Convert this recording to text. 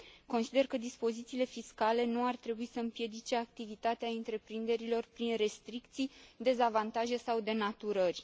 Consider că dispozițiile fiscale nu ar trebui să împiedice activitatea întreprinderilor prin restricții, dezavantaje sau denaturări.